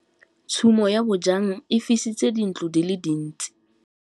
Tshumô ya bojang e fisitse dintlo di le dintsi.